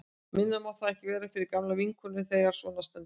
Minna má það ekki vera fyrir gamla vinkonu þegar svona stendur á.